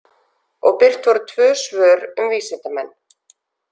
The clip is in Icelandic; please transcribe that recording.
Og birt voru tvö svör um vísindamenn.